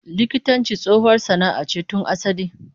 Likitanci tsohuwar sana'a ce tun asali